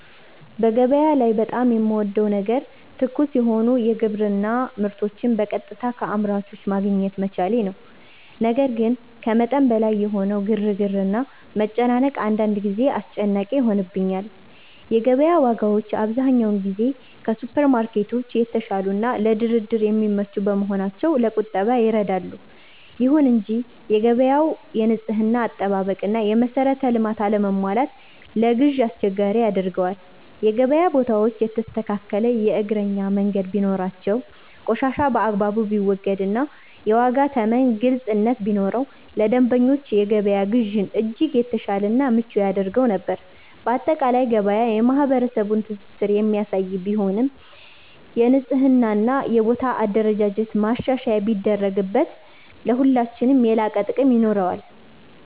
በገበያ ላይ በጣም የምወደው ነገር ትኩስ የሆኑ የግብርና ምርቶችን በቀጥታ ከአምራቾች ማግኘት መቻሌ ነው። ነገር ግን ከመጠን በላይ የሆነው ግርግርና መጨናነቅ አንዳንድ ጊዜ አስጨናቂ ይሆንብኛል። የገበያ ዋጋዎች አብዛኛውን ጊዜ ከሱፐርማርኬቶች የተሻሉና ለድርድር የሚመቹ በመሆናቸው ለቁጠባ ይረዳሉ። ይሁን እንጂ የገበያው የንጽህና አጠባበቅና የመሰረተ ልማት አለመሟላት ለግዢ አስቸጋሪ ያደርገዋል። የገበያ ቦታዎች የተስተካከለ የእግረኛ መንገድ ቢኖራቸው፣ ቆሻሻ በአግባቡ ቢወገድና የዋጋ ተመን ግልጽነት ቢኖረው ለደንበኞች የገበያ ግዢን እጅግ የተሻለና ምቹ ያደርገው ነበር። ባጠቃላይ ገበያ የማህበረሰቡን ትስስር የሚያሳይ ቢሆንም፣ የንጽህናና የቦታ አደረጃጀት ማሻሻያ ቢደረግበት ለሁላችንም የላቀ ጥቅም ይኖረዋል።